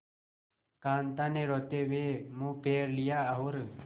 कांता ने रोते हुए मुंह फेर लिया और